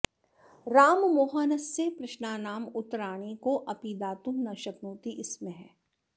राममोहनस्य प्रश्नानाम् उत्तराणि कोऽपि दातुं न शक्नोति स्म